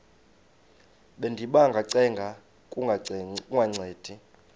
bendiba ngacenga kungancedi